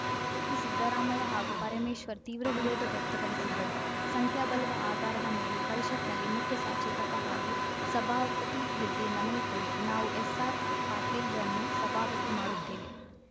ಇದಕ್ಕೆ ಸಿದ್ದರಾಮಯ್ಯ ಹಾಗೂ ಪರಮೇಶ್ವರ್‌ ತೀವ್ರವಿರೋಧ ವ್ಯಕ್ತಪಡಿಸಿದ್ದರು ಸಂಖ್ಯಾಬಲದ ಆಧಾರದ ಮೇಲೆ ಪರಿಷತ್‌ನಲ್ಲಿ ಮುಖ್ಯಸಚೇತಕ ಹಾಗೂ ಸಭಾಪತಿ ಹುದ್ದೆ ನಮಗೆ ಕೊಡಿ ನಾವು ಎಸ್‌ಆರ್‌ ಪಾಟೀಲ್‌ರನ್ನು ಸಭಾಪತಿ ಮಾಡುತ್ತೇವೆ